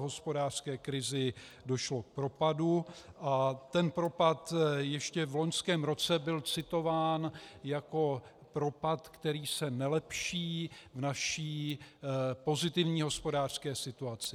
V hospodářské krizi došlo k propadu a ten propad ještě v loňském roce byl citován jako propad, který se nelepší v naší pozitivní hospodářské situaci.